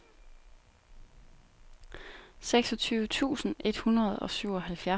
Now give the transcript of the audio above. seksogtyve tusind et hundrede og syvoghalvfjerds